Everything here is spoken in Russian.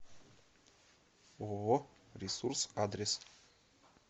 ооо ресурс адрес